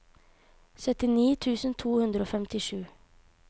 syttini tusen to hundre og femtisju